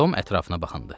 Tom ətrafına baxındı.